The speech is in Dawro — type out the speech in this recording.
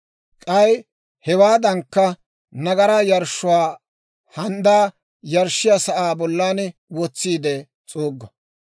K'ay hewaadankka nagaraa yarshshuwaa handdaa yarshshiyaa sa'aa bollan wotsiide s'uuggo.